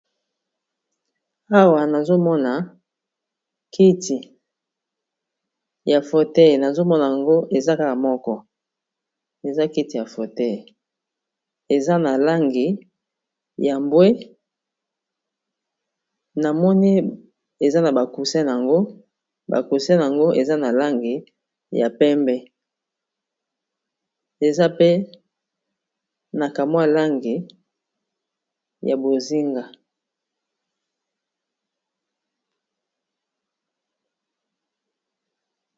awa nazomona kiti ya fotei nazomona yango eza kaka moko eza kiti ya fotei eza na langi ya mbwe namoni eza na bakusen yango bakuse yango eza na langi ya pembe eza pe na kamwa langi ya bozinga